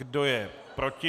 Kdo je proti?